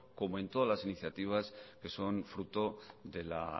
como en todas las iniciativas que son fruto de la